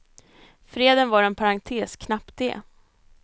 Freden var en parentes, knappt det.